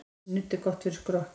Nudd er gott fyrir skrokkinn.